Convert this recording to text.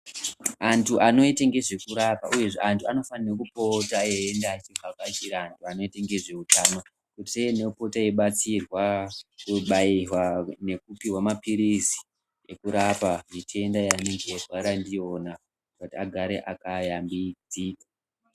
Antu anoite ngezvekurapa uyezve antu anofana kupota eivhakachira antu vanoita ngezveutano kuti teinopota yeibaysirwa kubairwa nekupihwa maphirizi ekurapa mitenda yavanenge eirwara ndiyona kuti agare akayambidzika.